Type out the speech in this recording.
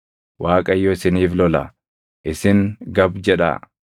Waaqayyo isiniif lola; isin gab jedhaa.”